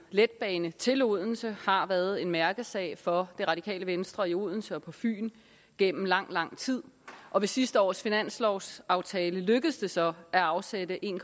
letbane til odense har været en mærkesag for det radikale venstre i odense og på fyn gennem lang lang tid og ved sidste års finanslovsaftale lykkedes det så at afsætte en